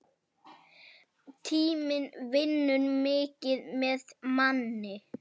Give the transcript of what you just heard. Tíminn vinnur mikið með manni.